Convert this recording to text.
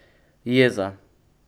Jeza.